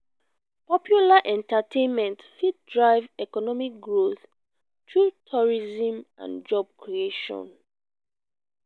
popular entertainment fit drive economic growth through tourism and job creation.